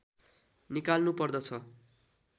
निकाल्नु पर्दछ